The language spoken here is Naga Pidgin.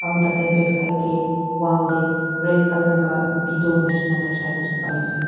aru tat te back side teh wall teh red colour ba bito likhi na thaka dikhi pai ase.